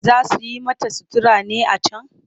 Za su yi mata sutura ne a can?